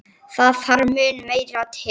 Það þarf mun meira til.